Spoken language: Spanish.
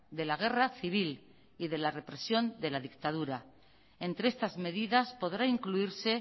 de la guerra civil y de la represión de la dictadura entre estas medidas podrá incluirse